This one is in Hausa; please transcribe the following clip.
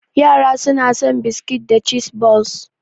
Yara suna son biskit da cheese balls.